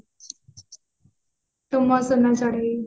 ତୁ ମୋ ସୁନା ଚଢେଇ